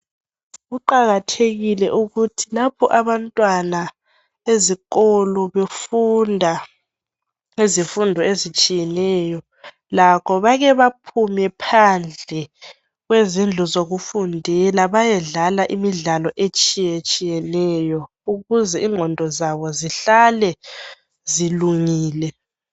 kuqakathekile ukuthi lapho abantwana bezikolo befunda izifundo ezitshiyeneyo lakho bake baphume phandle kwezindlu zokufundela bayedlala imidlalo etshiyetshiyeneyo ukuze ingqondo zabo zihlale zilungile